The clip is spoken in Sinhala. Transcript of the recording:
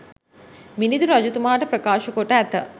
මිළිඳු රජතුමාට ප්‍රකාශ කොට ඇත.